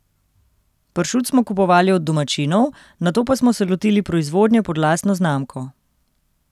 Pršut smo kupovali od domačinov, nato pa smo se lotili proizvodnje pod lastno znamko.